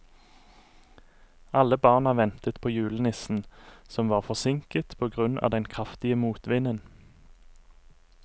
Alle barna ventet på julenissen, som var forsinket på grunn av den kraftige motvinden.